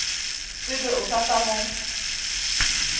tsebe o sa tla mo